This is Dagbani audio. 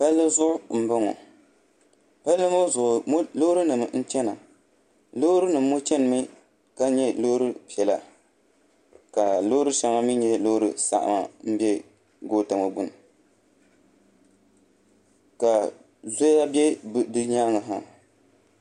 Palli zuɣu n bɔŋɔ palli ŋɔ zuɣu loori nim n chɛna loori nim ŋɔ chɛnimi ka nyɛ loori piɛla ka loori shɛŋa mii nyɛ loori saɣama n bɛ goota ŋɔ gbuni ka zoya bɛ di nyaangi ha